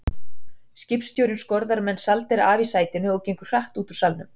Skipstjórinn skorðar Mensalder af í sætinu og gengur hratt út úr salnum.